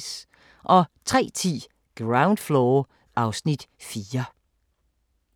03:10: Ground Floor (Afs. 4)